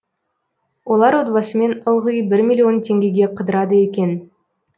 олар отбасымен ылғи бір миллион теңгеге қыдырады екен